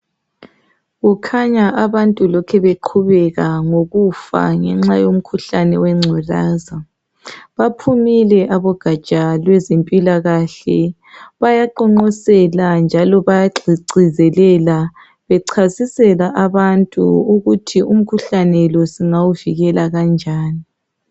Kukhanya abantu lokhe beqhubeka ngokufa ngenxa yomkhuhlane wengculaza baphumile abogatsha lwezempilakahle bayaqonqosela njalo bayagcizelela bechasisela abantu ukuthi umkhuhlane lo singawuvikela kanjani.